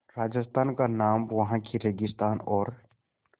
राजस्थान का नाम वहाँ के रेगिस्तान और